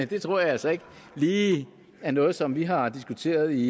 det tror jeg altså ikke lige er noget som vi har diskuteret i